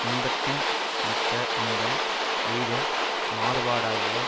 இன்பத்தின் மிக்க இன்பம் எய்தும் மாறுபாடாகிய